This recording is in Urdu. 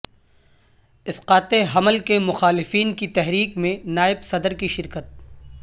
اسقاط حمل کے مخالفین کی تحریک میں نائب صدر کی شرکت